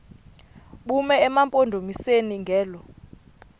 bume emampondomiseni ngelo